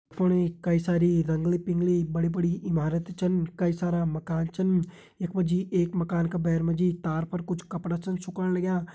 याफुण कई साड़ी रंगली पिंगली बड़ी बड़ी इमारत छिन कई सारा मकान छिन। यख मा जी एक मकान का भैर मा जी तार पर कुछ कपड़ा छिन सुकोण लग्यां।